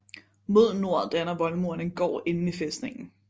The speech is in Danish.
Mod nord danner voldmuren en gård inde i fæstningen